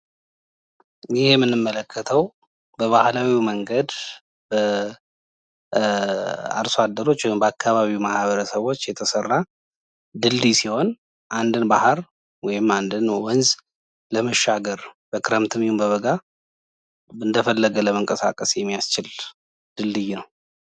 ይሄ የምንመለከተው በባህላዊ መንገድ አርሶ አደሮች ወይም በአካባቢው ማህበረሰቦች የተሰራ ድልድይ ሲሆን አንድን ባህር ወይም አንድን ወንዝ ለመሻገር በክረምትም ሆነ በበጋ እኝደፈለገ ለመንቀሳቀስ የሚያስችል ድልድይ ነው።